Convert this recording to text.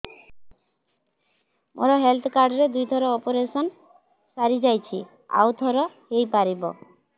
ମୋର health card ରେ ଦୁଇ ଥର ଅପେରସନ ସାରି ଯାଇଛି ଆଉ ଥର ହେଇପାରିବ